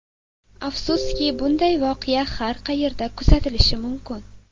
Afsuski, bunday voqea har qayerda kuzatilishi mumkin.